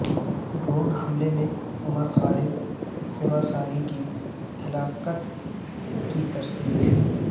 drone حملے میں Umar Khalid Khorasani کی ہلاکت کی تصدیق